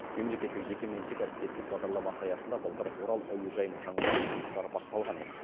мемлекеттік жекеменшік әріптестік бағдарламасы аясында былтыр орал әуежайын жаңарту жұмыстары басталған еді